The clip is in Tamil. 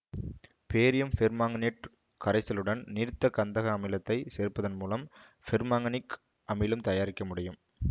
பேரியம் பெர்மாங்கனேட்டு கரைசலுடன் நீர்த்த கந்தக அமிலத்தை சேர்ப்பதன் மூலம் பர்மாங்கனிக் அமிலம் தயாரிக்க முடியும்